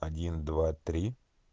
один два три